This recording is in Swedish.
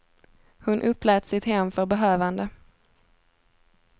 Hon upplät sitt hem för behövande.